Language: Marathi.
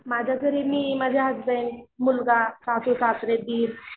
माझ्या घरी मी माझे हसबंड, मुलगा, सासू, सासरे, दीर.